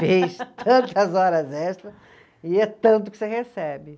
Fez tantas horas extras e é tanto que você recebe.